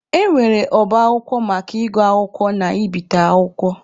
E nwere ọba akwụkwọ maka ịgụ akwụkwọ na ibite akwụkwọ.